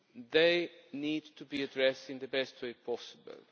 This needs to be addressed in the best way possible.